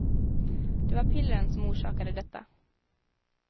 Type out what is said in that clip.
Det var pillren som orsakade detta.